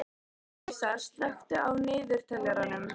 Arisa, slökktu á niðurteljaranum.